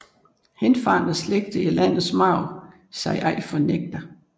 Henfarne slægter i landets marv sig ej fornægter